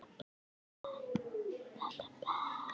Þetta var orðinn hans heimavöllur.